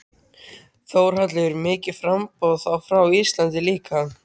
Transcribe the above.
Þórhallur: Mikið framboð, þá frá Íslandi líka?